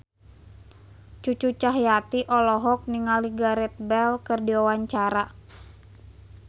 Cucu Cahyati olohok ningali Gareth Bale keur diwawancara